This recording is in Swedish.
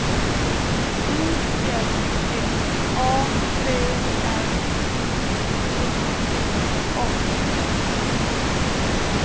U L L A B R I T T A